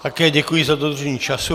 Také děkuji za dodržení času.